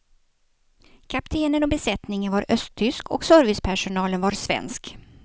Kaptenen och besättningen var östtysk och servicepersonalen var svensk.